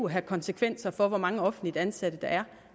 have konsekvenser for hvor mange offentligt ansatte der er